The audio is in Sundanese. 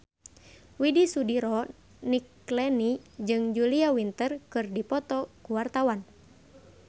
Widy Soediro Nichlany jeung Julia Winter keur dipoto ku wartawan